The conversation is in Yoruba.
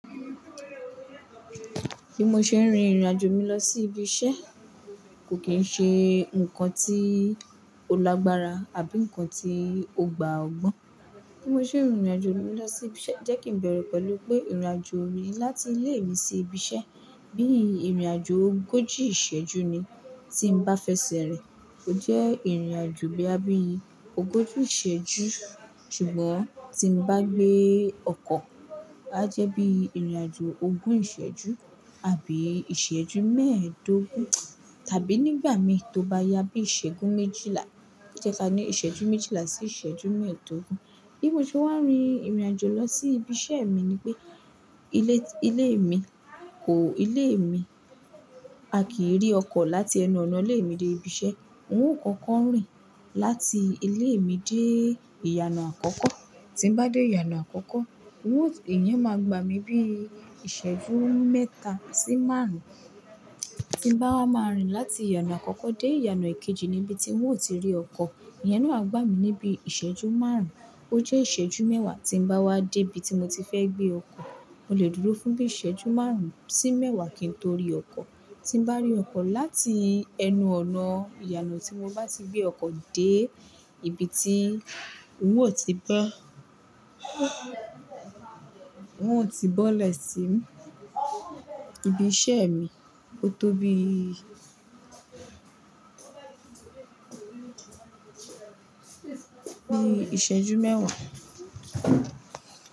Bí mo ṣe ń rin ìrìnàjò mi lọ sí ibi iṣẹ́ kò kí ń ṣe nǹkan tí ó lágbára àbí nǹkan tí ó gbà ọ gbọ́n. Bí mo ṣe ń rin ìrìnàjò mi lọ sí ibi iṣẹ́ jẹ́ kí n bẹ̀rẹ̀ pẹ̀lú pé ìrìnàjò mi láti ilé mi sí ibi iṣẹ́ bí i ìrìnàjò ogójì ìṣẹ́jú ni tí n bá fẹsẹ̀ rìn, ó jẹ́ ìrìnàjò bíi abínibí ogójì ìṣẹ́jú. Ṣùgbọ́n tí n bá gbé ọkọ̀, á jẹ́ bíi ìrìnàjò ogún ìṣẹ́jú àbí ìṣẹ́jú mẹ́ẹ̀ẹ́dógún tàbí nígbà mi tó bá yá bí i ìṣẹ́jú méjìlá, jẹka ni ìṣẹ́jú méjìlá sí ìṣẹ́jú mẹ́ẹ̀ẹ́dógún. Bí mo ṣe wá ń rin ìrìnàjò lọ sí ibi iṣẹ́ mi ni pé ilé, ilé mi kò, ilé mi a kì í rí ọkọ̀ láti ẹnu ọ̀nà ilé mi dé ibi iṣẹ́. N ó kọ́kọ́ ń rìn láti ilé mi dé ìyànà àkọ́kọ́. Tí n bá dé ìyànà àkọ́kọ́, owó èèyii máa gbà mí bí i ìṣẹ́jú mẹ́ta sí márùn-ún. Tí n bá wá máa ń rìn láti ìyànà àkọ́kọ́ dé ìyànà èkejì ni ibi tí n ó ti rí ọkọ̀, èèyàn náà á gbà mí níbi ìṣẹ́jú márùn-ún. Ó jẹ́ ìṣẹ́jú mẹ́wàá tí n bá wá dé ibi tí mo ti fẹ́ gbé ọkọ̀. Mo lè dúró fún bí i ìṣẹ́jú márùn-ún sí mẹ́wàá kí n tó rí ọkọ̀. Tí n bá rí ọkọ̀ láti ẹnu ọ̀nà ìyànà tí mo bá ti gbé ọkọ̀ dé ibi tí n ó ti bẹ́, n ó ti bọ́lẹ̀ sí ìbí iṣẹ́ mi ooo tó bí i bí i ìṣẹ́jú mẹ́wàá.